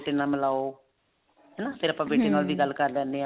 ਬੇਟੇ ਨਾਲ ਮਿਲਾਓ ਹਨਾ ਫ਼ੇਰ ਆਪਾਂ ਬੇਟੇ ਨਾਲ ਗੱਲ ਕਰ ਲੈਨੇ ਆਂ